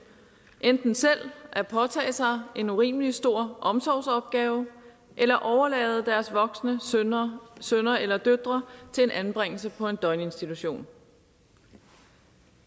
enten selv at påtage sig en urimelig stor omsorgsopgave eller overlade deres voksne sønner sønner eller døtre til en anbringelse på en døgninstitution